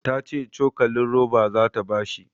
Ta ce cokalin roba zata ba shi